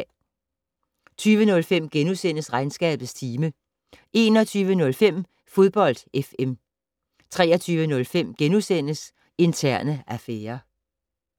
20:05: Regnskabets time * 21:05: Fodbold FM 23:05: Interne affærer *